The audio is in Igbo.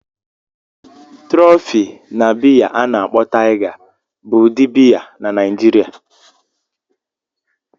Trophy na biya ana akpo Tiger bụ ụdị biya na Naijiria.